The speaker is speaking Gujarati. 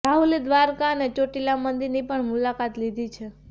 રાહુલે દ્વારકા અને ચોટીલા મંદિરની પણ મુલાકાત લીધી છે